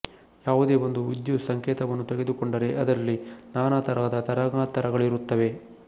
ಯಾವುದೇ ಒಂದು ವಿದ್ಯುತ್ ಸಂಕೇತವನ್ನು ತೆಗೆದುಕೊಂಡರೆ ಅದರಲ್ಲಿ ನಾನ ತರಹದ ತರಂಗಾಂತರಗಳಿರುತ್ತವೆ